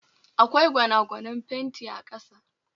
Akwai gwanagwanen fenti a kasa